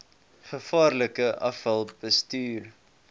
gevaarlike afval bestuur